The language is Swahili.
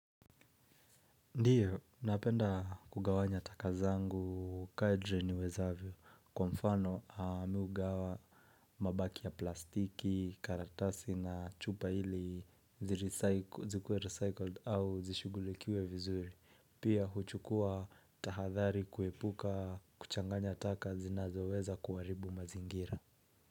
Ndiyo, napenda kugawanya taka zangu kadri niwezavyo. Kwa mfano mimi hugawa mabaki ya plastiki, karatasi na chupa ili zikuwe recycled au zishugulikiwe vizuri. Pia huchukua tahadhari kuepuka kuchanganya taka zinazoweza kuharibu mazingira.